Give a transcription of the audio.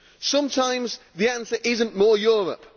Sometimes the answer is not more Europe.